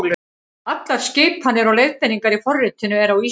Allar skipanir og leiðbeiningar í forritinu eru á íslensku.